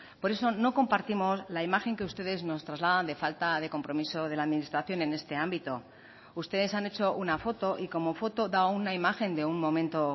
por eso no compartimos la imagen que ustedes nos trasladan de falta de compromiso de la administración en este ámbito ustedes han hecho una foto y como foto da una imagen de un momento